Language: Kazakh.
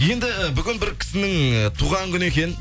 енді бүгін бір кісінің і туған күні екен